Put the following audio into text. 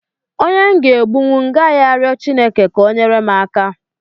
Onye m ga-egbuli m ga rio Chineke ka o nyere m aka.